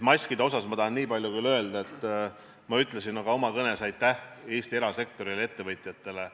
Maskide kohta tahan veel niipalju öelda, mida ma ütlesin ka oma kõnes, et aitäh Eesti erasektorile, ettevõtjatele.